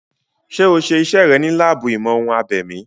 Ṣé o ṣe iṣẹ́ rẹ̀ ní láàbù ìmọ̀-ohun-abèmí?